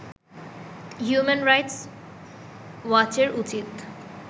human rights ওয়াচের উচিত